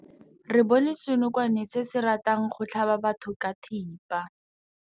Re bone senokwane se se ratang go tlhaba batho ka thipa.